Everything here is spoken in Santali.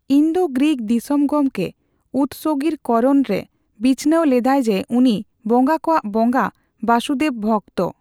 ᱤᱱᱫᱳᱼᱜᱨᱤᱠ ᱫᱤᱥᱚᱢ ᱜᱚᱢᱠᱮ ᱩᱫᱥᱚᱜᱤᱨ ᱠᱚᱨᱚᱱ ᱨᱮ ᱵᱤᱪᱷᱱᱟᱹᱣ ᱞᱮᱫᱟᱭ ᱡᱮ, ᱩᱱᱤ ᱵᱚᱸᱜᱟ ᱠᱚᱣᱟ ᱵᱚᱸᱜᱟ ᱵᱟᱥᱩᱫᱮᱵ ᱵᱷᱚᱜᱛᱚ ᱾